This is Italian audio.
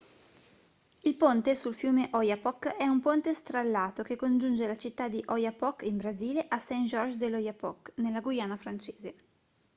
il ponte sul fiume oyapock è un ponte strallato che congiunge la città di oiapoque in brasile a saint-georges de l'oyapock nella guyana francese